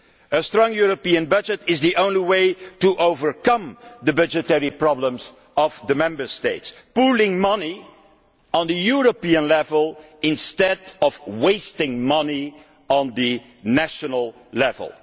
A strong European budget is the only way to overcome the budgetary problems of the Member States pooling money at European level instead of wasting money at the national level.